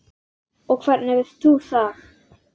Og hvernig veistu það?